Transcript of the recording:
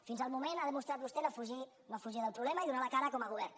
fins al moment ha demostrat vostè no fugir no fugir del problema i donar la cara com a govern